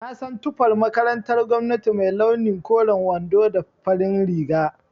Na san tufar makarantar gwamnati mai launi koren wando da farin riga